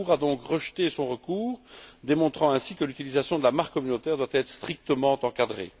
La Cour a donc rejeté son recours, démontrant ainsi que l'utilisation de la marque communautaire doit être strictement encadrée.